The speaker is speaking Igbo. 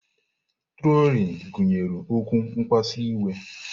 Trolini gụnyere okwu mkpasu iwe.